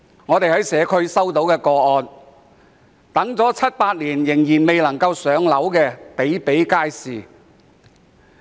我們在社區接觸到不少個案，當中輪候七八年仍然未能"上樓"的個案比比皆是。